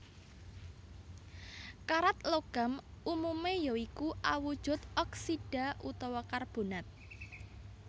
Karat logam umumé ya iku awujud oksida utawa karbonat